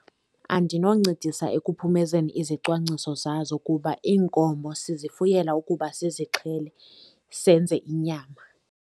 Andinoncedisa ekuphumezeni izicwangciso zazo kuba iinkomo sizifuyela ukuba sizixhele, senze inyama.